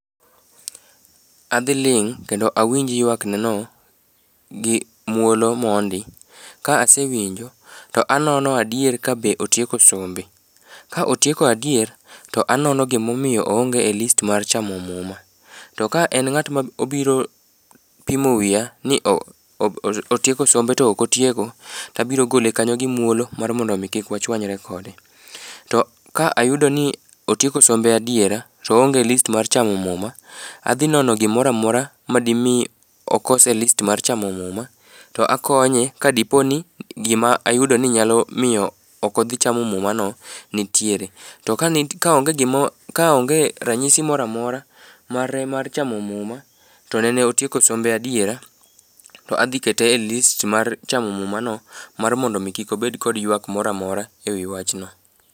Adhiling' kendo awinj ywakneno, gi muolo mondi, ka asewinjo to anono adier kabe otieko sombe. Ka otieko adier, to anono gimomiyo oonge e list mar chamo muma. To ka en ng'at ma obiro pimo wiya ni otieko sombe to ok otieko, tabiro gole kanyo gi muolo mar mondo omi kik wachwanyre kode. To ka ayudo ni otieko sombe adiera, to oonge e list mar chamo muma, adhi nono gimora mora ma di mi oko e list mar chamo muma, to akonye ka dipo ni gima ayudo ni nyalo miyo ok odhi chamo mumano nitiere. To ka onge ranyisi mora mora mare mar chamo muma, to nene notieko sombe adiera, to adhi kete e list mar chamo mumano mar mondo omi kik obed kod ywak mora mora e wi wachno.